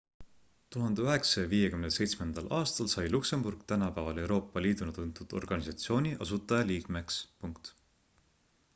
1957 aastal sai luksemburg tänapäeval euroopa liiduna tuntud organisatsiooni asutajaliikmeks